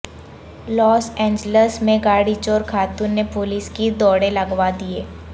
لاس Angeles میں گاڑی چورخاتون نے پولیس کی دوڑیں لگوا دیں